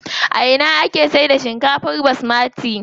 A ina ake saida shinkar basmati?